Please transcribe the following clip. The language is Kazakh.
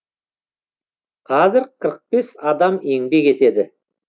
қазір қырық бес адам еңбек етеді